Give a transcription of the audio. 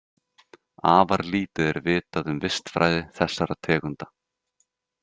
Afar lítið er vitað um vistfræði þessara tegunda.